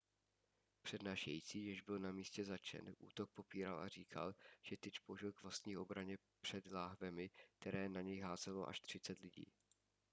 přednášející jež byl na místě zatčen útok popíral a říkal že tyč použil k vlastní obraně před láhvemi které na něj házelo až třicet lidí